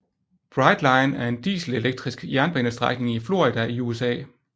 Brightline er en dieselelektrisk jernbanestrækning i Florida i USA